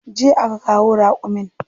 Jiya aka kawo raƙumin.